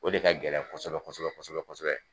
O de ka gɛlɛn kosɛbɛ kosɛbɛ kosɛbɛ